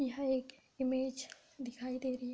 यह एक इमेज दिखाई दे रही |